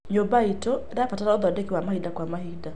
Nyũmba iitũ ĩrabatara ũthondeki wa mahinda kwa mahinda.